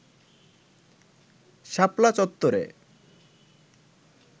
শাপলা চত্বরে